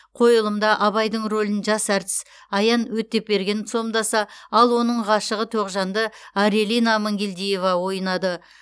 қойылымда абайдың рөлін жас әртіс аян өтепберген сомдаса ал оның ғашығы тоғжанды арелина амангелдиева ойнады